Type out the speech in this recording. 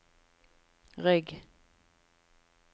rygg